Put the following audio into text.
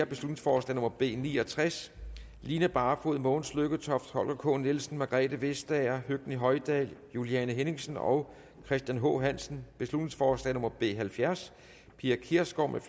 beslutningsforslag nummer b ni og tres line barfod mogens lykketoft holger k nielsen margrethe vestager høgni hoydal juliane henningsen og christian h hansen beslutningsforslag nummer b halvfjerds pia kjærsgaard